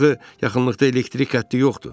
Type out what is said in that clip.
Axı yaxınlıqda elektrik xətti yoxdur.